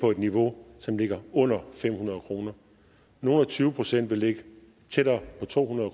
på et niveau som ligger under fem hundrede kroner nogle og tyve procent vil ligge tættere på to hundrede